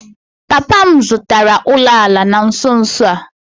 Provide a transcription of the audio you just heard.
Papa m zụtara ụlọala na nso nso a